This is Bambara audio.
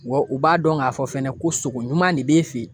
Wa u b'a dɔn k'a fɔ fɛnɛ ko sogo ɲuman de b'e fɛ